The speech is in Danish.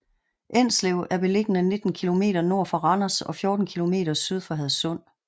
Enslev er beliggende 19 kilometer nord for Randers og 14 kilometer syd for Hadsund